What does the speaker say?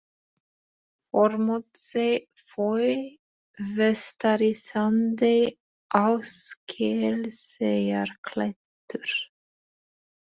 Þormóðsey, Fóey, Vestari-Sandey, Áskelseyjarklettur